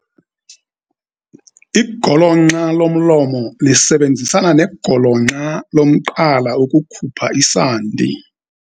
Igolonxa lomlomo lisebenzisana negolonxa lomqala ukukhupha isandi.